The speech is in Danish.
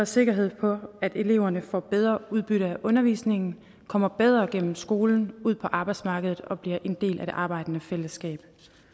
sikkerhed for at eleverne får bedre udbytte af undervisningen kommer bedre gennem skolen og ud på arbejdsmarkedet og bliver en del af det arbejdende fællesskab